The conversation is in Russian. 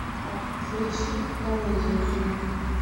включи комедию жених